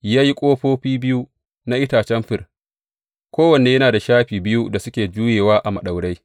Ya yi ƙofofi biyu na itacen fir, kowanne yana da shafi biyu da suke juyewa a maɗaurai.